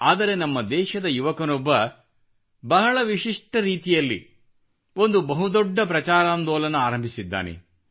ಆದರೆ ನಮ್ಮ ದೇಶದ ಯುವಕನೊಬ್ಬ ಬಹಳ ವಿಶಿಷ್ಟ ರೀತಿಯಲ್ಲಿ ಒಂದು ಬಹುದೊಡ್ಡ ಪ್ರಚಾರಾಂದೋಲನ ಆರಂಭಿಸಿದ್ದಾನೆ